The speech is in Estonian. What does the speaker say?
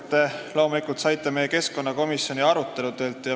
Need numbrid saite te keskkonnakomisjoni aruteludelt.